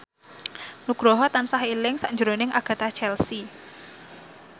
Nugroho tansah eling sakjroning Agatha Chelsea